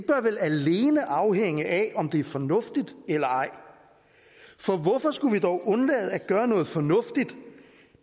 vel alene afhænge af om de er fornuftige for hvorfor skulle vi dog undlade at gøre noget fornuftigt